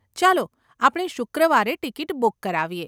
ચાલો આપણે શુક્રવારે ટીકીટ બુક કરાવીએ.